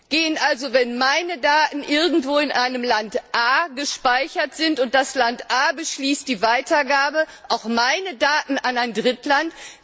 Gehen also, wenn meine Daten irgendwo in einem Land A gespeichert sind und das Land A die Weitergabe beschließt, auch meine Daten an ein Drittland?